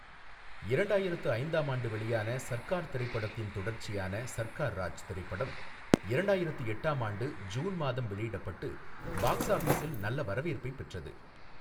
இரண்டாயிரத்து ஐந்தாம் ஆண்டு வெளியான சர்க்கார் திரைப்படத்தின் தொடர்ச்சியான சர்க்கார் ராஜ் திரைப்படம் இரண்டாயிரத்து எட்டாம் ஆண்டு ஜூன் மாதம் வெளியிடப்பட்டு பாக்ஸ் ஆபிஸில் நல்ல வரவேற்பைப் பெற்றது.